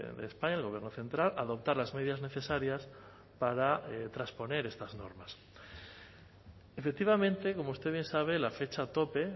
de españa el gobierno central a adoptar las medidas necesarias para trasponer estas normas efectivamente como usted bien sabe la fecha tope